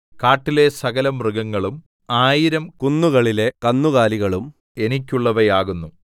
കാട്ടിലെ സകലമൃഗങ്ങളും ആയിരം കുന്നുകളിലെ കന്നുകാലികളും എനിക്കുള്ളവയാകുന്നു